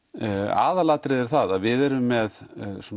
aðalatriðið er það að við erum með